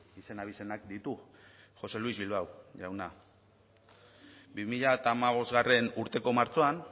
izen abizenak ditu josé luis bilbao jauna bi mila hamabostgarrena urteko martxoan